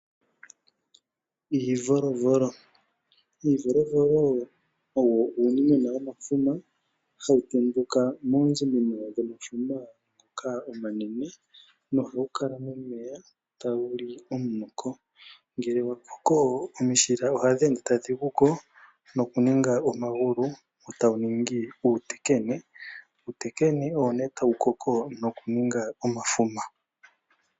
Iivolovolo Iivolovolo owo uunimwena womafuma, hawu tenduka mooziminino dhomafuma ngoka omanene nohawu kala momeya tawu li omunoko. Ngele wa koko omishila ohadhi ende tadhi guko nokuninga omagulu e tawu ningi uutekene. Uutekene owo nduno tawu koko nokuninga omafuma.